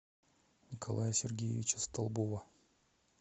николая сергеевича столбова